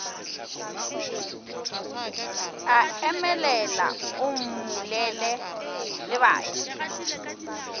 a emelela o mmulela lebati